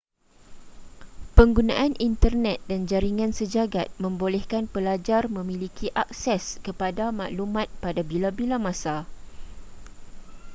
penggunaan internet dan jaringan sejagat membolehkan pelajar memiliki akses kepada maklumat pada bila-bila masa